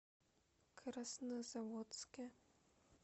краснозаводске